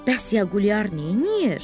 Bəs Yaqulyar neyləyir?